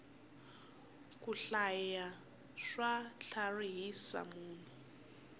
ku hlaya swa tlharihisa munhu